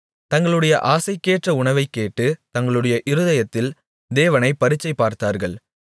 தங்களுடைய ஆசைக்கேற்ற உணவைக்கேட்டு தங்களுடைய இருதயத்தில் தேவனைப் பரீட்சைபார்த்தார்கள்